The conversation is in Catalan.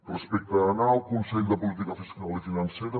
respecte a anar al consell de política fiscal i financera